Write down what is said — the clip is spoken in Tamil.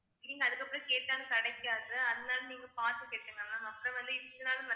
நீங்க அதுக்கப்புறம் கேட்டா கிடைக்காது அதனால நீங்க பார்த்து கட்டுங்க ma'am அப்புறம் வந்து இத்தனை நாள்